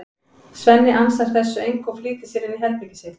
Svenni ansar þessu engu og flýtir sér inn í herbergið sitt.